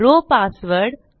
row password